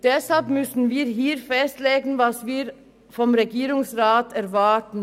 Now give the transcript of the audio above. Deshalb müssen wir hier festlegen, was wir vom Regierungsrat erwarten.